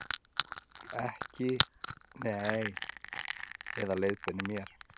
Eða leiðbeinir mér.